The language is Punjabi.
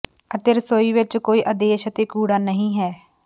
ਅਤੇ ਰਸੋਈ ਵਿਚ ਕੋਈ ਆਦੇਸ਼ ਅਤੇ ਕੂੜਾ ਨਹੀਂ ਹੈ